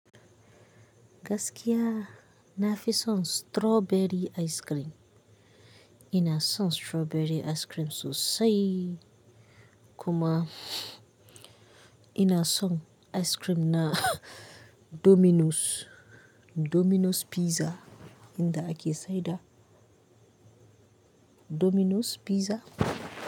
Gaskiya nafi son strawberry ice cream. Ina son strawberry ice cream sosai kuma ina son ice cream na Domino's, Domino's Pizza inda ake saida Domino's Pizza.